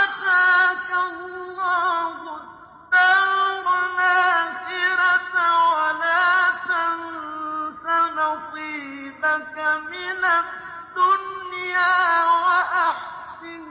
آتَاكَ اللَّهُ الدَّارَ الْآخِرَةَ ۖ وَلَا تَنسَ نَصِيبَكَ مِنَ الدُّنْيَا ۖ وَأَحْسِن